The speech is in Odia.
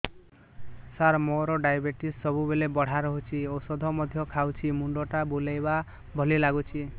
ସାର ମୋର ଡାଏବେଟିସ ସବୁବେଳ ବଢ଼ା ରହୁଛି ଔଷଧ ମଧ୍ୟ ଖାଉଛି ମୁଣ୍ଡ ଟା ବୁଲାଇବା ଭଳି ଲାଗୁଛି